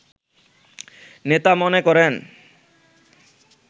নেতা মনে করেন